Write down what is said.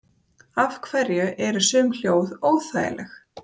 af hverju eru sum hljóð óþægileg